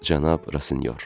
Cənab Rasinyor.